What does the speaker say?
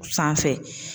Sanfɛ